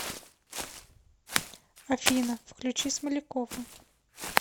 афина включи смолякова